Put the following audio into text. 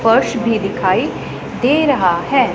फर्श भी दिखाई दे रहा है।